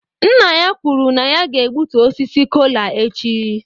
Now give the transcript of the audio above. Nna ya kwuru na ya ga-egbutu osisi kola echi.